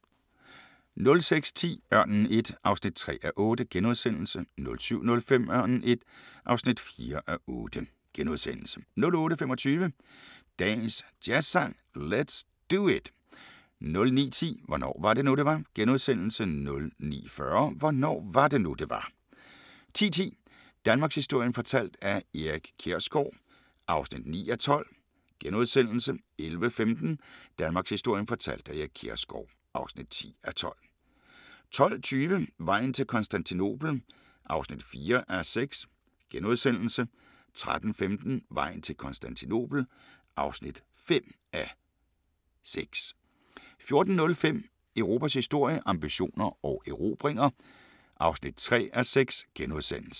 06:10: Ørnen I (3:8)* 07:05: Ørnen I (4:8)* 08:25: Dagens Jazzsang: Let's Do It 09:10: Hvornår var det nu det var * 09:40: Hvornår var det nu det var 10:10: Danmarkshistorien fortalt af Erik Kjersgaard (9:12)* 11:15: Danmarkshistorien fortalt af Erik Kjersgaard (10:12) 12:20: Vejen til Konstantinopel (4:6)* 13:15: Vejen til Konstantinopel (5:6) 14:05: Europas historie – ambitioner og erobringer (3:6)*